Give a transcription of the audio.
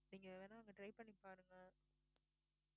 நீங்க வேணா அங்க try பண்ணி பாருங்க